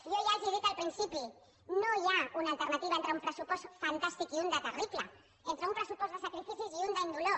jo ja els ho he dit al principi no hi ha una alternativa entre un pressupost fantàstic i un de terrible entre un pressupost de sacrificis i un d’indolor